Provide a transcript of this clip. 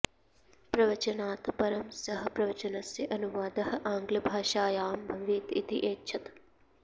प्रवचनात् परं सः प्रवचनस्य अनुवादः आङ्ग्लभाषायां भवेत् इति ऐच्छत्